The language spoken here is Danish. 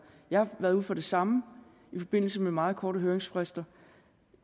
jeg har været ude for det samme i forbindelse med meget korte høringsfrister